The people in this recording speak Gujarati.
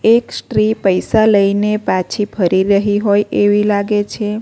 એક સ્ટ્રી પૈસા લઈને પાછી ફરી રહી હોય એવી લાગે છે.